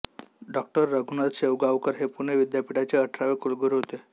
डॉ रघुनाथ शेवगावकर हे पुणे विद्यापीठाचे अठरावे कुलगुरू होते